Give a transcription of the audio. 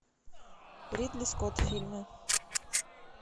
ридли скотт фильмы